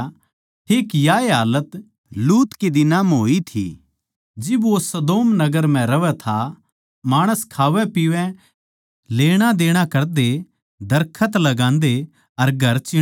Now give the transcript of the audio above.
ठीक याए हालात लूत कै दिनां म्ह होई थी जिब वो सदोम नगर म्ह रहवै था माणस खावैंपीवै लेणादेणा करदे दरखत लान्दे अर घर चीणैं थे